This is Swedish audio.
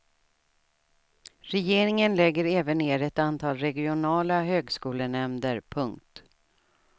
Regeringen lägger även ner ett antal regionala högskolenämnder. punkt